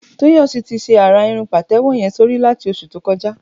Toyosi ti ṣé árá irùn pàtẹ̀wọ̀ yèn sórí làtí óṣú tókọ̀já